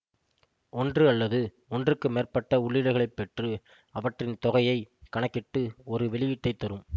ஒன்று அல்லது ஒன்றுக்கு மேற்பட்ட உள்ளீடுகளைப் பெற்று அவற்றின் தொகையை கணக்கிட்டு ஒரு வெளியீட்டைத் தரும்